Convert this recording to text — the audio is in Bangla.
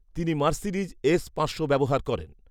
তিনি মার্সিডিজ এস পাঁচশো ব্যবহার করেন